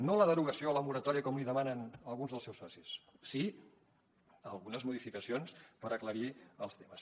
no la derogació o la moratòria com li demanen alguns dels seus socis sí algunes modificacions per aclarir els temes